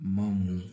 Ma mɔ